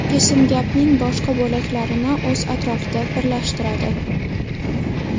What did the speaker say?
Kesim gapning boshqa bo‘laklarini o‘z atrofida birlashtiradi.